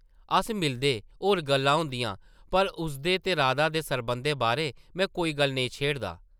अस मिलदे, होर गल्लां होंदियां पर उसदे ते राधा दे सरबंधै बारै में कोई गल्ल नेईं छेड़दा ।